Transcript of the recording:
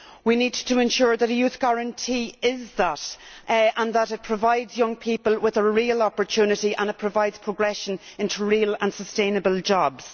We need to ensure that a youth guarantee is just that, and that it provides young people with a real opportunity and it provides progression into real and sustainable jobs.